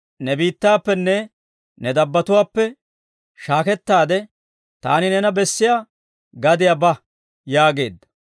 ‹Ne biittaappenne ne dabbatuwaappe shaakettaade, taani neena bessiyaa gadiyaa ba› yaageedda.